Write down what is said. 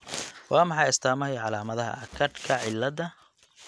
Waa maxay astaamaha iyo calaamadaha Achardka cilada?